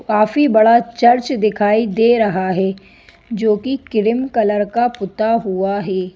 काफी बड़ा चर्च दिखाई दे रहा है जो कि क्रीम कलर का पुता हुआ है।